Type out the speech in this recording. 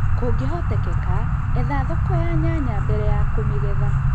Kũngĩhotekeka etha thoko ya nyanya mbele ya kũmĩgetha